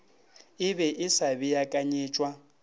e be e sa beakanyetšwa